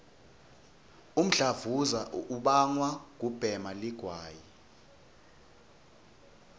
umdlavuza ubangwa kubhema ligwayi